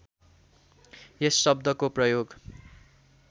यस शब्दको प्रयोग